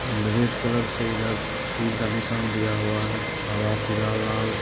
red colour से इधर तीर का निशान दिया हुआ है हर पीला लाल--